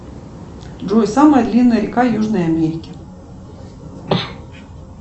джой самая длинная река южной америки